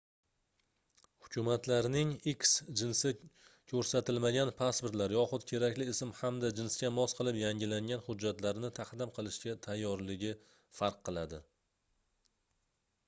hukumatlarning x jinsi ko'rsatilmagan pasportlar yoxud kerakli ism hamda jinsga mos qilib yangilangan hujjatlarni taqdim qilishga tayyorligi farq qiladi